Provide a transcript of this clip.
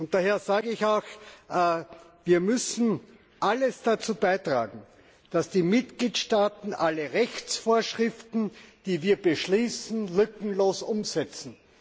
Daher sage ich auch, wir müssen alles dazu beitragen, dass die Mitgliedstaaten alle Rechtsvorschriften, die wir beschließen, lückenlos umsetzen.